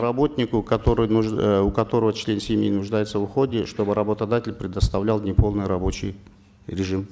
работнику который э у которого член семьи нуждается в уходе чтобы работодатель предоставлял неполный рабочий режим